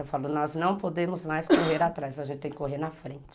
Eu falo, nós não podemos mais correr atrás, a gente tem que correr na frente.